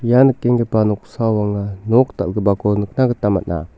ia nikenggipa noksao anga nok dal·gipako nikna gita man·a.